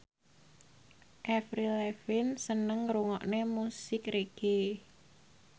Avril Lavigne seneng ngrungokne musik reggae